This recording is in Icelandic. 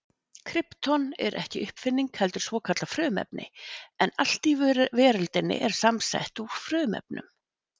Krypton er ekki uppfinning heldur svokallað frumefni en allt í veröldinni er samsett úr frumefnum.